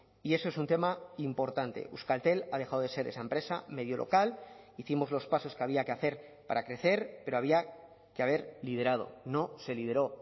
y eso es un tema importante euskaltel ha dejado de ser esa empresa medio local hicimos los pasos que había que hacer para crecer pero había que haber liderado no se lideró